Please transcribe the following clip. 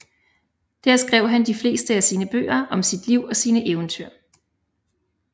Der skrev han de fleste af sine bøger om sit liv og sine eventyr